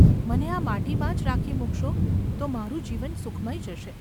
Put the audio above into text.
મને આ માટીમાં જ રાખી મૂકશો તો મારું જીવન સુખમય જશે.